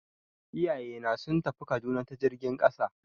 Iyayena sun tafi Kaduna ta jirgin ƙasa.